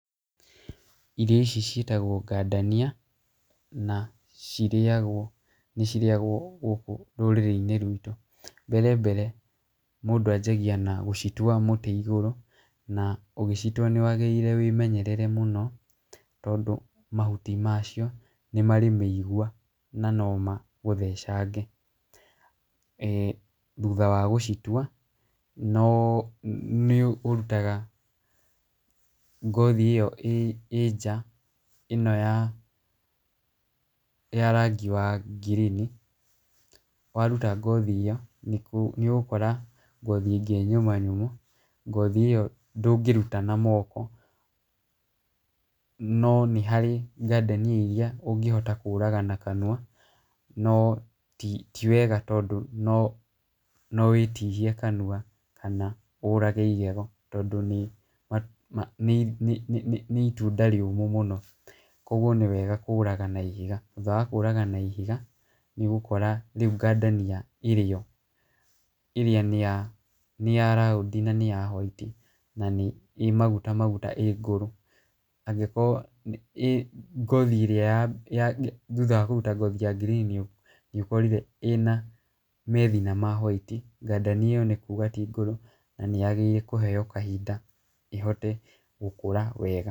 Irio ici cĩitagwo ngandania, na cirĩagwo nĩ cirĩagwo gũkũ rũrĩrĩ-inĩ rwitũ, mbere mbere mũndũ ajagia na gũcitua mũtĩ igũrũ, na ũgĩcitua nĩ wagĩrĩire wĩmenyerere mũno, tondũ mahuti macio marĩ mĩigua na no magũthecage, e thutha wa gũcitua, no nĩ ũrutaga ngothi ĩyo ĩ nja, ĩno ya ĩno ya rangi wa ngirini, waruta ngothi ĩyo nĩ ũgũkora ngothi ĩngĩ nyũma nyũmũ , ngothi ĩyo ndũngĩruta na moko, no nĩ harĩ ngandania iria ũngĩhota kũraga na kanua, no ti wega tondũ ti no wĩtihie kanua kana ũrage igego, tondũ nĩ nĩ nĩ itunda rĩũmũ mũno, kũgwo nĩwega kũraga na ihiga, thutha wa kũraga na ihiga nĩ ũgũkora rĩu ngandania ĩrĩ yo, nĩ ya raundi na nĩ ya white, na nĩ maguta maguta ĩ ngũrũ, angĩkorwo ngothi ĩrĩa ya thutha wa kũruta ngothi ya ngirini nĩ ũkorire ĩna methina ma white , ndania ĩyo nĩ kuuga ti ngũrũ, na nĩ yagĩrĩirwo kũheo kahinda , ĩhote gũkũra wega.